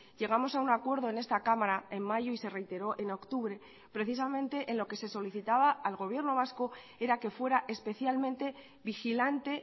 llegamos a un acuerdo en esta cámara en mayo y se reiteró en octubre precisamente en lo que se solicitaba al gobierno vasco era que fuera especialmente vigilante